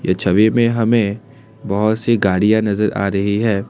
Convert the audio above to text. छवि में हमें बहोत सी गाड़ियां नजर आ रही हैं।